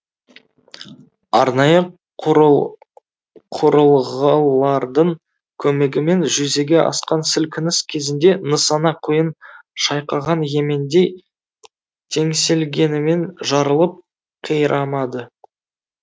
арнайы құрыл құрылғылардың көмегімен жүзеге асқан сілкініс кезінде нысана құйын шайқаған емендей теңселгенімен жарылып қирамады